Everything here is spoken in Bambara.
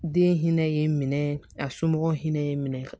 Den hinɛ ye n minɛ a somɔgɔw hinɛ ye n minɛ